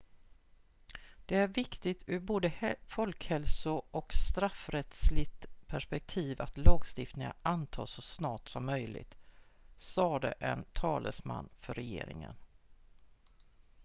"""det är viktigt ur både folkhälso- och straffrättsligt perspektiv att lagstiftningen antas så snart som möjligt" sade en talesman för regeringen.